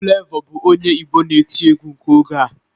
Flavor bụ onye Igbo na-etị egwu nke oge a